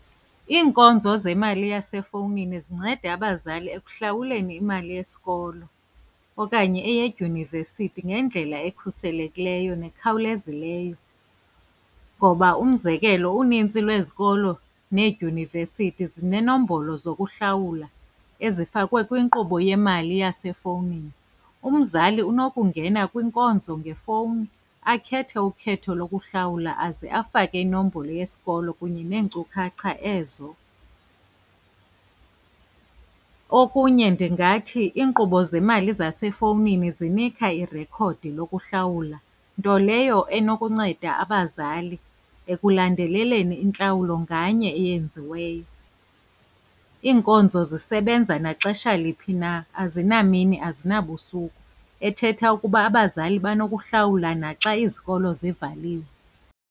Iinkonzo zemali yasefowunini zinceda abazali ekuhlawuleni imali yesikolo, okanye eyedyunivesithi ngendlela ekhuselekileyo nekhawulezileyo. Ngoba, umzekelo, unintsi lwezikolo needyunivesithi zineenombolo zokuhlawula ezifakwe kwinkqubo yemali yasefowunini. Umzali unokungena kwinkonzo ngefowuni, akhethe ukhetho lokuhlawula aze afake inombolo yesikolo kunye neenkcukacha ezo. Okunye ndingathi iinkqubo zemali zasefowunini zinika irekhodi lokuhlawula, nto leyo enokunceda abazali ekulandeleleni intlawulo nganye eyenziweyo. Iinkonzo zisebenza naxesha liphi na, azinamini azinabusuku, ethetha ukuba abazali banokuhlawula naxa izikolo zivaliwe.